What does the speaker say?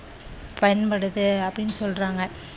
பயன்படுது அப்படின்னு சொல்றாங்க.